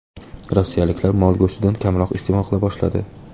Rossiyaliklar mol go‘shtini kamroq iste’mol qila boshladi.